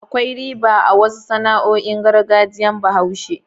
Akwai riba a wasu sana'o'in gargajiyar Bahaushe.